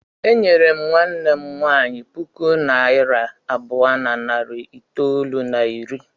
E nyere nwanne m nwaanyị puku naịra abụọ na narị itoolu na iri.